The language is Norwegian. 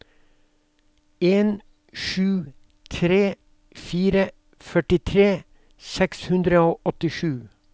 en sju tre fire førtitre seks hundre og åttisju